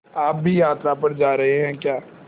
आप भी यात्रा पर जा रहे हैं क्या